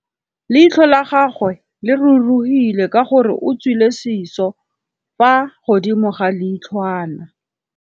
Leitlhô la gagwe le rurugile ka gore o tswile sisô fa godimo ga leitlhwana.